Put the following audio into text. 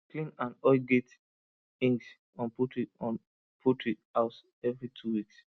clean and oil gate hinges on poultry on poultry house every two weeks